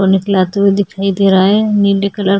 photo निकला तो वो दिखाई दे रहा है नीले कलर --